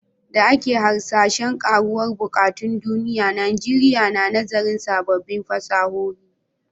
Da yake hasashen karuwar buƙatun duniya, Najeriya na nazarin sabbin fasahohi.